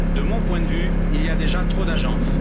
De mon point de vue, il y a déjà trop d'agences.